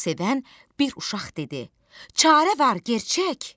Onu sevən bir uşaq dedi: "Çarə var gerçək!